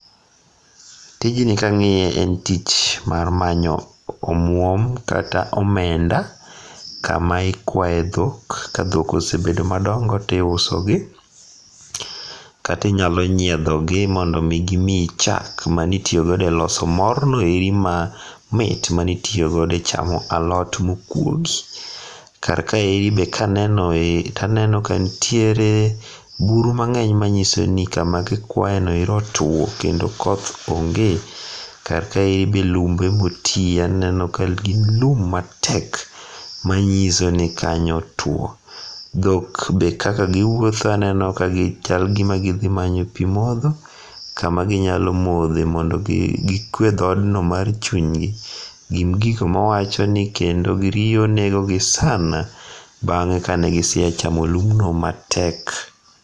Tijni kang'iye en tich mar manyo omuom kata omenda, kama ikwaye dhok, ka dhok osebet madongo tiusogi. Kata inyalo nyiedho gi mondo mi gimiyi chak manitiyo godo eloso morno eri mamit manitiyo godo e chamo alot mokuogi. Kar kaeri be kaneno ee taneno ka nitiere buru mang'eny manyiso ni kama gikwayeno ero otuo kendo koth onge kata be lumbe motiye aneno ka gin lum matek manyiso ni kanyo otuo. Dhok be kaka giwuotho aneno ka chal gima gidhi manyo pi modho mondo gikwe dhoodno mar chunygi. Gin gik mawacho ni kendo riyo negogi sana bang'e kane gisea chamo lumbno matek.